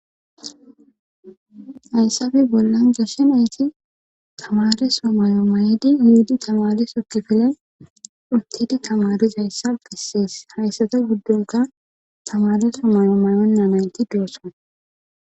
hayssafe bollan goshe nayti tamare so mayo mayedi yiidi tamare sokkifile uttidi tamariz hayssa gissees hayssata guddonka tamare so mayo mayonna nayti doosson